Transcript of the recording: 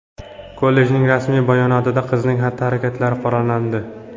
Kollejning rasmiy bayonotida qizning xatti-harakatlari qoralandi.